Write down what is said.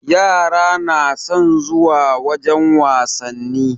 Yara na son zuwa wajen wasanni.